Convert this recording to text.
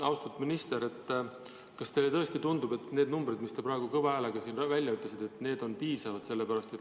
Austatud minister, kas teile tõesti tundub, et need numbrid, mis te praegu kõva häälega välja ütlesite, on piisavad?